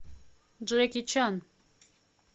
джеки чан